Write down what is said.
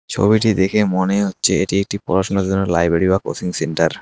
ছবিটি দেখে মনে হচ্ছে এটি একটি পড়াশুনার জন্য লাইব্রেরী বা কোচিং সেন্টার ।